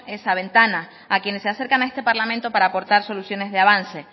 esa ventana a quienes se acercan a esta parlamento para aportar soluciones de avance